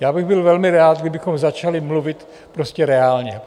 Já bych byl velmi rád, kdybychom začali mluvit prostě reálně.